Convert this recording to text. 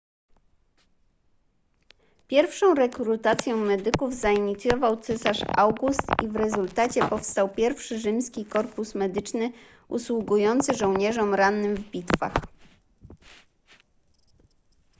pierwszą rekrutację medyków zainicjował cesarz august i w rezultacie powstał pierwszy rzymski korpus medyczny usługujący żołnierzom rannym w bitwach